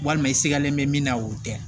Walima i sigalen bɛ min na o tɛ